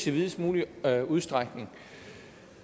i videst mulig udstrækning